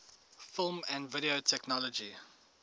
film and video technology